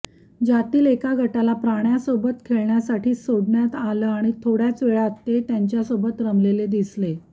ज्यातील एका गटाला प्राण्यासोबत खेळण्यासाठी सोडण्यात आलं आणि थोड्याच वेळात ते त्यांच्यासोबत रमलेले दिसले